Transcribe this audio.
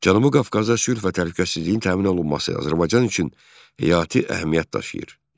Cənubi Qafqazda sülh və təhlükəsizliyin təmin olunması Azərbaycan üçün həyati əhəmiyyət daşıyır.